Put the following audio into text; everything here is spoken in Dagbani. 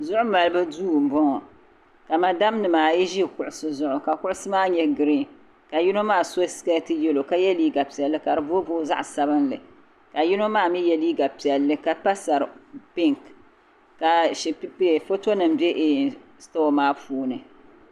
Zuɣu Malibu duu m-bɔŋɔ ka madamnima ayi ʒi kuɣisi zuɣu ka kuɣusi maa nyɛ giriin ka yino maa so sikɛɛti yɛlo ka ye liiga piɛlli ka da booiboii zaɣ'sabinli ka yino maa ye liiga piɛlli pa sari pinki ka fotonima be sitɔɔ maa puuni